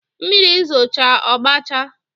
Mmiri zooche ọgbachaa